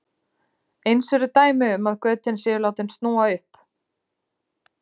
eins eru dæmi um að götin séu látin snúa upp